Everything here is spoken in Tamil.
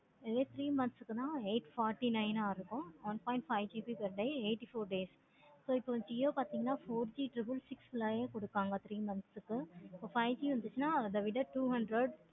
இதே three months குணா eight forty nine இருக்கு. one point five GB per day eighty four days இப்போ jio பார்த்தேங்கான triple six nine கொடுப்பாங்க. இப்ப five G வந்துருச்சின அத விட two hundred